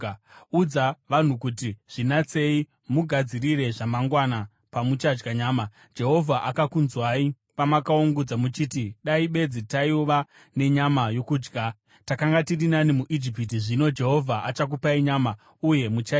“Udza vanhu kuti: ‘Zvinatsei mugadzirire zvamangwana, pamuchadya nyama. Jehovha akakunzwai pamakaungudza muchiti, “Dai bedzi taiva nenyama yokudya! Takanga tiri nani muIjipiti!” Zvino Jehovha achakupai nyama, uye muchaidya.